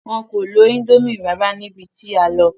Wọn kò lo ińdómì rárá níbi tí a lọ.